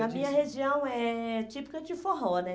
Na minha região é típica de forró, né?